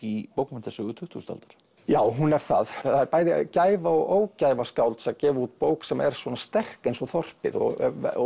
í bókmenntasögu tuttugustu aldar já hún er það það er bæði gæfa og ógæfa skálds að gefa út bók sem er svona sterk eins og þorpið og